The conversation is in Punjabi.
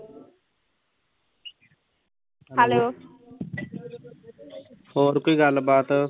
ਹੋਰ ਕੋਈ ਗੱਲਬਾਤ